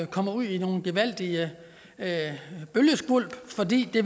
komme ud i nogle gevaldige bølgeskvulp fordi det